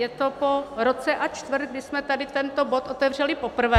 Je to po roce a čtvrt, kdy jsme tady tento bod otevřeli poprvé.